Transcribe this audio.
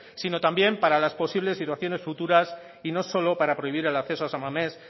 sino también para la posibles situaciones futuras y no solo para prohibir el acceso a san mames